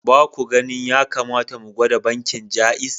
Ba ku ganin ya kamata mu gwada bankin Jaiz?